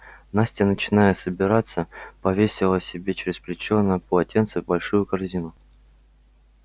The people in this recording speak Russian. настя начиная собираться повесила себе через плечо на полотенце большую корзину